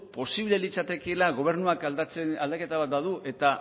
posible litzatekeela gobernuak aldaketa bat badu eta